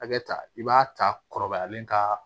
Hakɛ ta i b'a ta kɔrɔbayalen ka